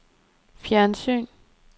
fjernsyn